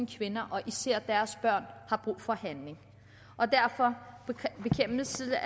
kvinder og især deres børn har brug for handling og derfor hilser jeg